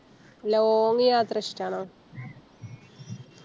Long യാത്ര ഇഷ്ട്ടാണോ